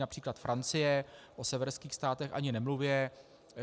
Například Francie, o severských státech ani nemluvě.